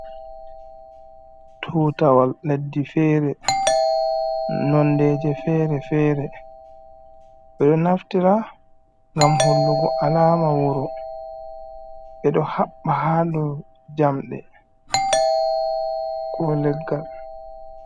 Tuutawal leddi feere nonɗeji feere feere ɓe ɗo naftira ngam hollugo alaama wuro ɓe ɗo haɓɓa haa dow jamɗe ko leggal.